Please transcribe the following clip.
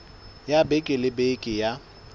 ya beke le beke ya